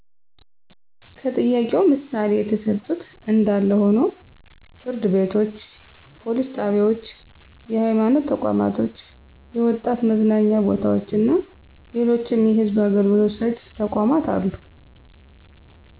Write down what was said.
ከጥያቄው ምሣሌ የተሠጡት እንዳለ ሆኖ ፍርድ ቤቶች፣ ፓሊስ ጣቢያዎች፣ የሐይማኖት ተቋማቶች፣ የወጣት መዝናኛ ቦታዎችና ሌሎችም የሕዝብ አገልግሎት ሰጭ ተቋማት አሉ።